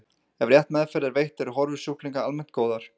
ef rétt meðferð er veitt eru horfur sjúklinga almennt góðar